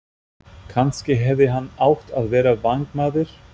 Kannski hefði hann átt að vera vængmaður?